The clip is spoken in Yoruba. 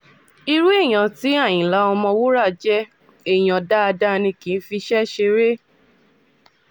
irun èèyàn tí àyìnlá ọ̀mọ̀wúrà jẹ́ èèyàn dáadáa ni kì í fiṣẹ́ ṣeré